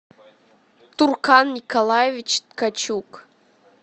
туркан николаевич ткачук